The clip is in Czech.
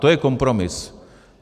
To je kompromis.